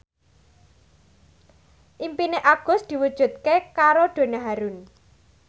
impine Agus diwujudke karo Donna Harun